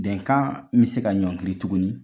Bɛnkan bɛ se ka ɲɔngiri tuguni